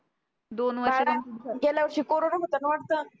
गेल्या वर्षी corona होता ना वाटत